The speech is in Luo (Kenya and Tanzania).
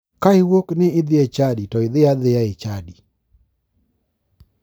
Ka iwuok ni idhi e chadi to dhia adhiya e chadi.